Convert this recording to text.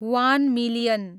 one million